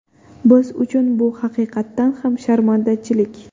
Biz uchun bu haqiqatan ham sharmandachilik.